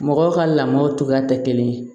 Mɔgɔw ka lamɔw cogoya tɛ kelen ye